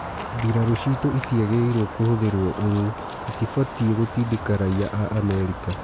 Mbirarũ citũ itiagĩ rĩ irwo kũhũthĩ rwo ũũ itibatiĩ gũtindĩ ka raia a Amerika.